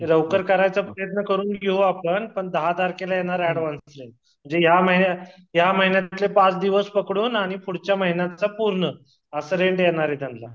लवकर करायचा प्रयत्न करू आपण पण दहा तारखेला येणार आहे एडवान्स म्हणजे या महिन्यातचे पाच दिवस पकडून आणि पुढच्या महिन्याच पूर्ण अस रेंट देणार आहे त्यांना